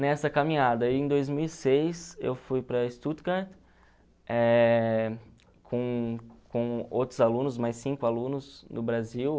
Nessa caminhada, em dois mil e seis, eu fui para Stuttgart eh com com outros alunos, mais cinco alunos do Brasil.